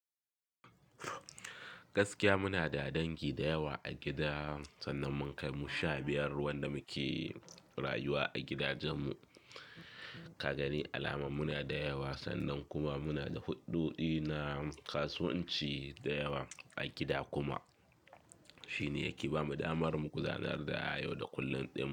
Gaskiya muna da dangi da yawa a gida, sannan mun kai mu sha biyar wanda muke rayuwa a gidajen mu. Ka gani alamar muna da yawa sannan kuma muna da huɗɗu dina kasuwanci da yawa a gida kuma. Shi ne yake ba mu damar mu gudanar da ayo da kullum ɗima.